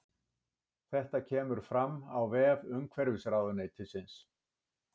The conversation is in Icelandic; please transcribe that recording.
Þetta kemur fram á vef umhverfisráðuneytisins